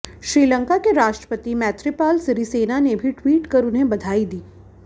श्रीलंका के राष्ट्रपति मैत्रीपाल सिरिसेना ने भी ट्वीट कर उन्हें बधाई दी